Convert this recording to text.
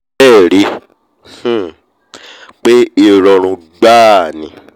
à bẹ́ẹ̀ ríi um pé ìrọ̀rùn gbáà ni